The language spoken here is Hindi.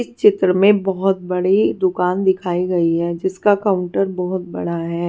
इस चित्र में बोहोत बड़ी दुकान दिखाई गई हैं जिसका काउंटर बोहोत बड़ा है।